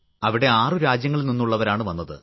അവിടെ ആറു രാജ്യങ്ങളിൽ നിന്നുള്ളവരാണ് വന്നത്